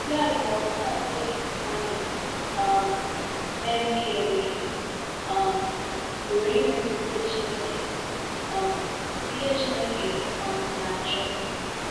Ya bụ na ọbụnadi mmadụ um na-emehie emehie um pụrụ imezu ihe Chineke um ihe Chineke um na-achọ.